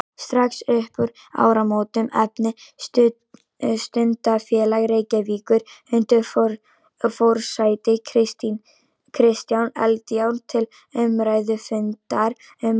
Strax uppúr áramótum efndi Stúdentafélag Reykjavíkur undir forsæti Kristjáns Eldjárns til umræðufundar um málið.